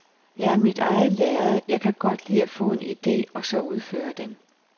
Jeg er mit eget lærred, jeg kan godt li at få en idé og så udføre den